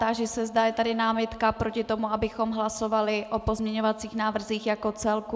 Táži se, zda je tady námitka proti tomu, abychom hlasovali o pozměňovacích návrzích jako celku.